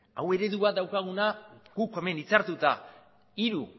hau eredua daukaguna guk hemen hitzartuta hiru